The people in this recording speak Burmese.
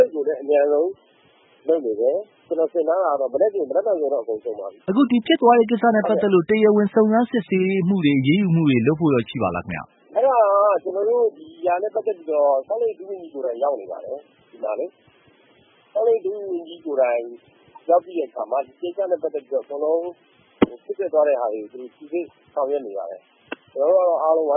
က် ဂိတ်ကိုလည်း အမြန်ဆုံး လုပ်နေတယ်။ ကျနော်ထင်ထားတာကတော့ မနက်ဖြန်ဆိုရင် အဆင်ပြေပါပြီ။ အခု ဒီဖြစ်သွားတာနဲ့ ပတ်သက်လို့ တရားဝင်စုံစမ်းစစ်ဆေးမှုတွေ အရေးယူမှုတွေ လုပ်ဖို့ ရှိပါသလားခင်ဗျ။ အဲဒါ ကျနော်တို့ ဒီဟာနဲ့ ပတ်သက်ပြီးတော့ ဆောက်လုပ်ရေးဝန်ကြီး ကိုယ်တိုင်ရောက်နေပါတယ်။ ဆောက်လုပ်ရေးဝန်ကြီးကိုယ်တိုင်ရောက်ပြီးတဲ့အခါမှာ ဒီကိစ္စနဲ့ ပတ်သက်ပြီး ဖြစ်ပျက်သွားတာတွေကို စိစစ်ဆောင်ရွက်နေပါတယ် ကျနော်တို့ကတော့ အားလုံး ပံ